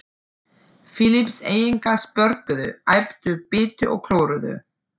Filippseyingar, spörkuðu, æptu, bitu og klóruðu.